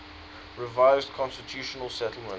revised constitutional settlement